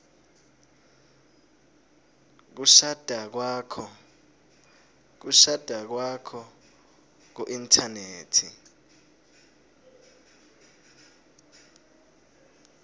kushada kwakho kuinthanethi